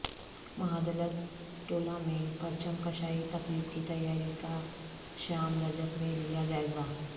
مہادلت ٹولہ میں پرچم کشائی تقریب کی تیاری کا شیام رجک نے لیا جائزہ